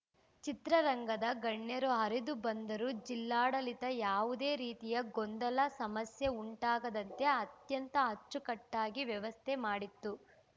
ಚಿತ್ರರಂಗದ ಗಣ್ಯರು ಹರಿದು ಬಂದರೂ ಜಿಲ್ಲಾಡಳಿತ ಯಾವುದೇ ರೀತಿಯ ಗೊಂದಲ ಸಮಸ್ಯೆ ಉಂಟಾಗದಂತೆ ಅತ್ಯಂತ ಅಚ್ಚುಕಟ್ಟಾಗಿ ವ್ಯವಸ್ಥೆ ಮಾಡಿತ್ತು